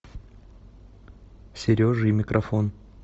сережа и микрофон